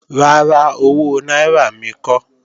Rárá, owó náírà mi kọ́